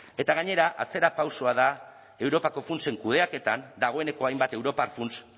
eta gainera atzerapausoa da europako funtsen kudeaketan dagoeneko hainbat europar funts